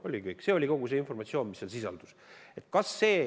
Oligi kõik, see on kogu informatsioon, mis seal sisaldub.